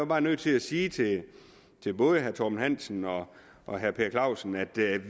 bare nødt til at sige til både herre torben hansen og og herre per clausen at